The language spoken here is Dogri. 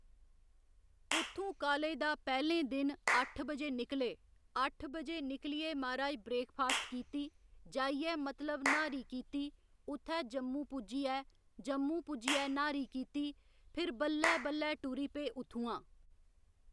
उत्थूं कालेज दा पैह्‌लें दिन अट्ठ बजे निकले अट्ठ बजे निकलियै माराज ब्रेकफास्ट कीती जाइयै मतलब न्हारी कीती उत्थै जम्मू पुज्जियै जम्मू पुज्जियै न्हारी कीती फिर बल्लै बल्लै टुरी पे उत्थुआं